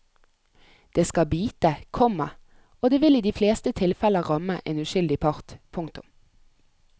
Det skal bite, komma og det vil i de fleste tilfeller ramme en uskyldig part. punktum